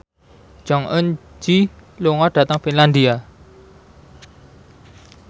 Jong Eun Ji lunga dhateng Finlandia